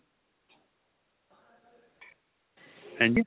ਹਾਂਜੀ